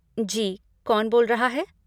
जी, कौन बोल रहा है?